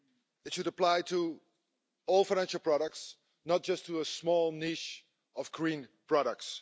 It should apply to all financial products, not just to a small niche of green products.